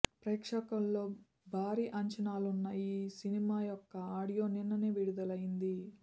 ప్రేక్షకుల్లో భారీ అంచనాలున్న ఈ సినిమా యొక్క ఆడియో నిన్ననే విడుదలైంది